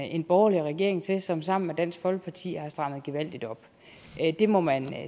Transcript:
en borgerlig regering til som sammen med dansk folkeparti har strammet gevaldigt op det må man